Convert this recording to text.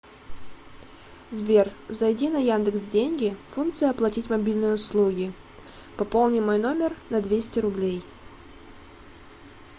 сбер зайди на яндекс деньги функция оплатить мобильные услуги пополни мой номер на двести рублей